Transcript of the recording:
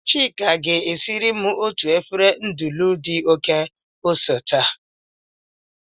Chika ga-siri m otu efere nudulu di oke ose taa